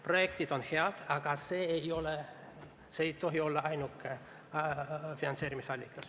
Projektid on head, aga need ei tohi olla ainukesed finantseerimisobjektid.